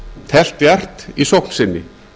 teflt djarft í sókn sinni